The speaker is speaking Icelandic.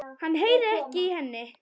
Hann heyrir ekki í henni.